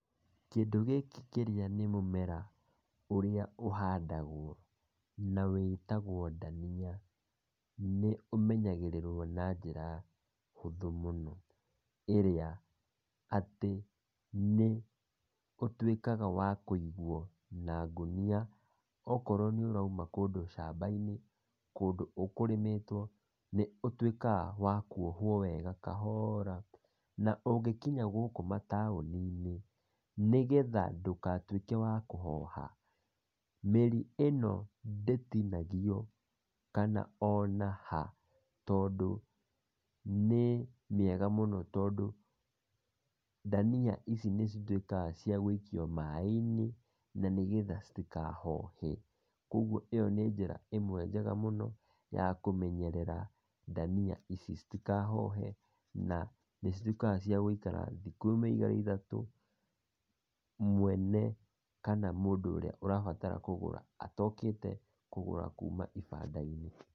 Kĩndũ gĩkĩ kĩrĩa nĩ mũmera ũrĩa ũhandagwo na wĩtagwo ndania, nĩ ũmenyagĩrĩrwo na njĩra hũthũ mũno, ĩrĩa atĩ, nĩ, ũtwĩkaga wa kũigwo na ngũnia okorwo nĩ ũraima kũndũ camba - inĩ, kũndũ ũkũrĩmĩtwo, nĩ ũtũikaga wa kwohuo wega kahoraa na ũngĩkinya gũkũ mataoninĩ, nĩgetha ndũgatwĩke wa kũhoha, mĩri ĩno ndĩtinagio, kana ona haa, tondũ nĩ mĩega mũno ,tondũ, ndania ici nĩ citwĩkaga cĩa gũikio maaĩnĩ , na nĩgetha citikahohe, kogwo ĩyo nĩ njĩra njega mũno yakũmenyerera ndania ici itikahohe na nĩ citwĩkaga cia gũikara thikũ ĩmwe, ĩgĩrĩ, ithatũ mwene kana mũndũ ũria ũrabatara kũgũra atokĩte kũgũra kuma gĩbanda - inĩ.